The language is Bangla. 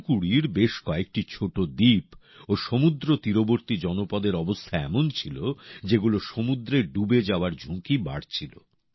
তুতুকুড়ির বেশ কয়েকটা ছোট দ্বীপ ও সমূদ্র তীরবর্তী জনপদের অবস্থা এমন ছিল যেগুলো সমুদ্রে ডুবে যাওয়ার ঝুঁকি বাড়ছিল